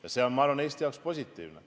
Ja ma arvan see on Eesti jaoks positiivne.